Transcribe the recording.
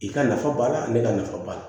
I ka nafa b'a la ani ka nafa b'a la